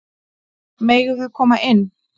Megum við koma inn?